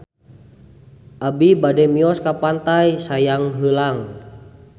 Abi bade mios ka Pantai Sayang Heulang